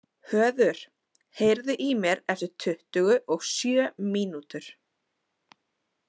Höður, heyrðu í mér eftir tuttugu og sjö mínútur.